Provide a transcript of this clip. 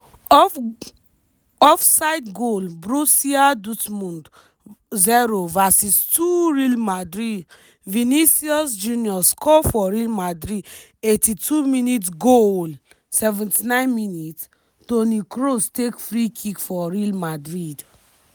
off offside goal brussia dootmund 0 vs 2 real madrid vinicius junior score for real madrid eighty two minutes-goooaaallll seventy nine minutes- toni kroos take free kick for real madrid.